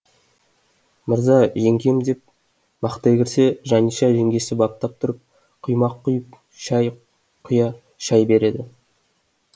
мырза жеңгем деп мақтай кірсе жаниша жеңгесі баптап тұрып құймақ құйып шай шай береді